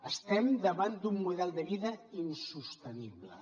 estem davant d’un model de vida insostenible